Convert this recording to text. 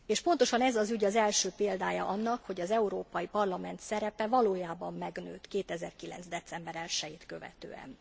Pontosan ez az ügy az első példája annak, hogy az Európai Parlament szerepe valójában megnőtt 2009. december 1 jét követően.